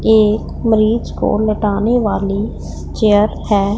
एक मरीज को लेटाने वाली चेयर है।